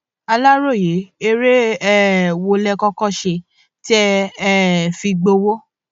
aláròye eré um wo lẹ kọkọ ṣe tẹ um ẹ fi gbowó